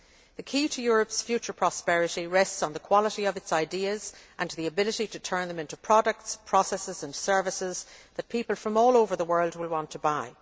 The key to Europe's future prosperity rests on the quality of its ideas and the ability to turn them into products, processes and services that people from all over the world will want to buy.